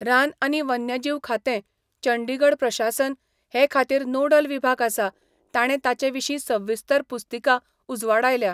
रान आनी वन्यजीव खातें, चंडीगढ प्रशासन, हे खातीर नोडल विभाग आसा, ताणें ताचे विशीं सविस्तर पुस्तिका उजवाडायल्या.